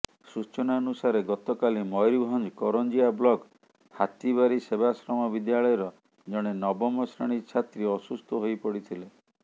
ସୂଚନାନୁସାରେ ଗତକାଲି ମୟୂରଭଞ୍ଜ କରଞ୍ଜିଆ ବ୍ଲକ ହାତୀବାରି ସେବାଶ୍ରମ ବିଦ୍ୟାଳୟର ଜଣେ ନବମ ଶ୍ରେଣୀ ଛାତ୍ରୀ ଅସୁସ୍ଥ ହୋଇପଡ଼ିଥିଲେ